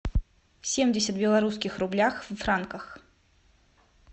семьдесят белорусских рублях в франках